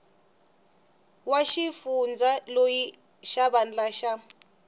wa xifundza loyi xivandla xa